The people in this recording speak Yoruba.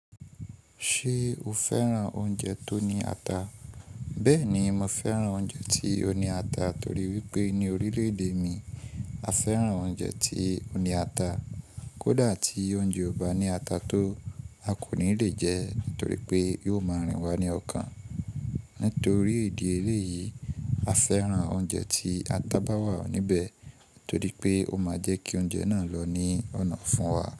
Ṣé o fẹ́ràn oúnjẹ tó ní ata? Bẹ́ẹ̀ni, mo fẹ́ràn oúnjẹ tí ó ní ata torí wípé ní orílẹ̀-èdè mi a fẹ́ràn oúnjẹ tí ó ní ata. Kódà, tí oúnjẹ ọ ba ní ata tó, a kò ní lè jẹ́ nítorí pé yóò máa rìn wá ní ọkàn. Nítorí ìdí eléyìí, a fẹ́ràn oúnjẹ tí ata bá wà níbẹ̀ torí pé ó máa jẹ́ kí oúnjẹ náà lọ ní ọ̀nà ofún wa.